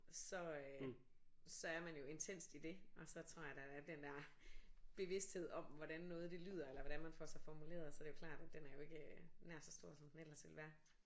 Så øh så er man jo intenst i det og så træder der den der bevidsthed om hvordan noget det lyder eller hvordan man får sig formuleret så er det jo klart at den er jo ikke nær så stor som den ellers ville være